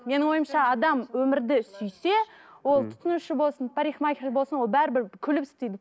менің ойымша адам өмірді сүйсе ол тұтынушы болсын парикмахер болсын ол бәрібір ол күліп істейді